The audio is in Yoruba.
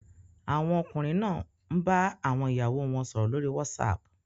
Àwọn ọkùnrin náà ń bá àwọn ìyàwó wọn sọ̀rọ̀ lórí Whatsapp